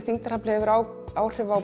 þyngdaraflið hefur áhrif á